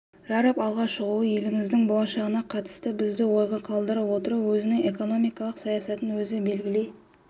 жарып алға шығуы еліміздің болашағына қатысты бізді ойға қалдырып отыр өзінің экономикалық саясатын өзі белгілей